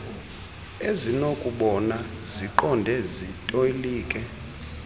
ezinokubona ziqonde zitolike